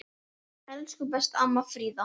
Elsku besta amma Fríða.